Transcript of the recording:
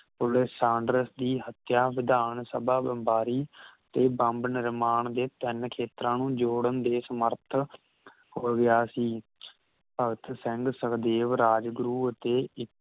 police Saunders ਦੀ ਹਤਿਆ ਵਿਧਾਨ ਸਭਾ ਬੰਬਾਰੀ ਤੇ ਬੰਬ ਨਿਰਮਾਣ ਦੇ ਤਿੰਨ ਖੇਤਰਾਂ ਨੂੰ ਜੋੜਨ ਦੇ ਸਮਰਥ ਹੋਗਿਆ ਸੀ ਭਗਤ ਸਿੰਘ ਸਖਦੇਵ ਰਾਜਗੁਰੂ ਅਤੇ ਇਕ